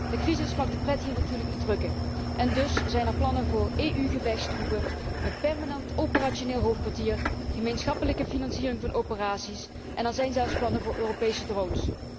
De crisis mag de pret hier natuurlijk niet drukken en dus zijn er plannen voor EU gevechtstroepen, een permanent operationeel hoofdkwartier, gemeenschappelijke financiering van operaties en zelfs plannen voor Europese drones.